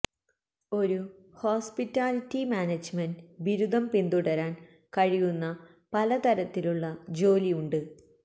ഒരു hospitality management ബിരുദം പിന്തുടരാൻ കഴിയുന്ന പല തരത്തിലുള്ള ജോലി ഉണ്ട്